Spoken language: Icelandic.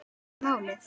Ekki málið!